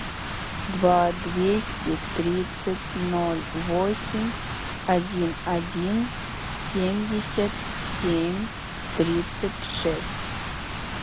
два двести тридцать ноль восемь один один семьдесят семь тридцать шесть